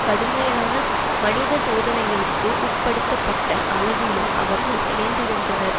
கடுமையான மனித சோதனைகளுக்கு உட்படுத்தப்பட்ட அளவிலும் அவர்கள் இணைந்திருந்தனர்